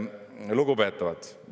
Lugupeetavad!